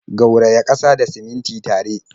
Gauraya ƙasa da simintin tare.